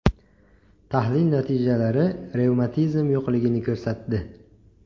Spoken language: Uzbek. Tahlil natijalari revmatizm yo‘qligini ko‘rsatdi.